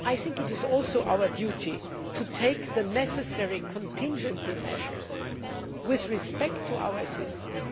It is also our duty to take the necessary contingency measures with respect to our assistance.